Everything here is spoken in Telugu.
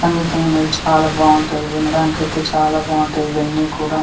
సంగీతమనేది చాలా బాగుంటుంది వినడానికి అయితే చాలా బాగుంటాయి ఇవన్నీ కూడా--